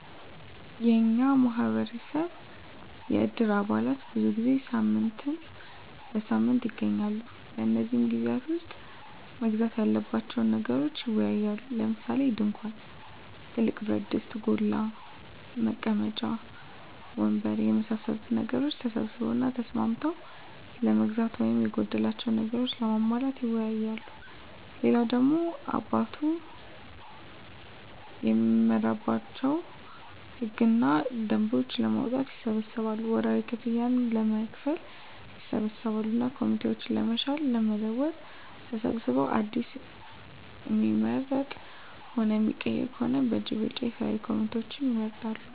የኛ ማህበረሰብ የእድር አባላት ብዙ ጊዜ ሳምንት በሳምንት ይገናኛሉ። በነዚህ ግዜያት ዉስጥ መገዛት ያለባቸዉን ነገሮች ይወያያሉ። ለምሳሌ፦ ድንኳን፣ ትልቅ ብረትድስት (ጎላ) ፣ መቀመጫ ወንበር የመሳሰሉትን ነገሮች ተሰብስበዉ እና ተስማምተዉ ለመግዛት ወይም የጎደላቸዉን ነገሮች ለማሟላት ይወያያሉ። ሌላ ደሞ አባላቱ እሚመራባቸዉን ህግ እና ደንቦች ለማዉጣትም ይሰበሰባሉ፣ ወርሀዊ ክፍያም ለመክፈል ይሰበሰባሉ እና ኮሚቴዎችን ለመሻር ለመለወጥ ተሰብስበዉ አዲስ እሚመረጥም ሆነ እሚቀየር ከሆነም በእጅ ብልጫ የተለያዩ ኮሚቴዎችን ይመርጣሉ።